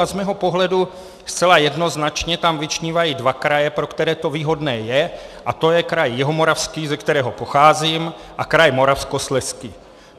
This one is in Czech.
A z mého pohledu zcela jednoznačně tam vyčnívají dva kraje, pro které to výhodné je, a to je kraj Jihomoravský, ze kterého pocházím, a kraj Moravskoslezský.